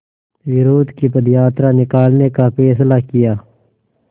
विरोध की पदयात्रा निकालने का फ़ैसला किया